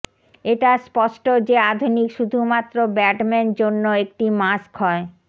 এটা স্পষ্ট যে আধুনিক শুধুমাত্র ব্যাটম্যান জন্য একটি মাস্ক হয়